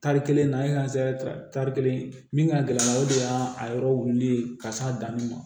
Tari kelen na ye tari kelen min ka gɛlɛn o de y'a a yɔrɔ wulilen ka s'a danni ma